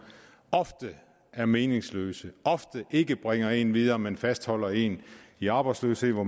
ofte er meningsløse ofte ikke bringer dem videre men fastholder dem i arbejdsløshed hvor